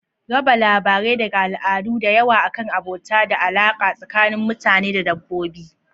Raba labarai daga al'adu da yawa akan abota da alaƙa tsakanin mutane da dabbobi.